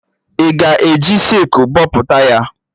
Ị ga-eji sịkụl bọpụta ya?